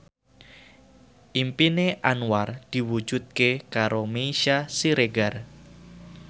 impine Anwar diwujudke karo Meisya Siregar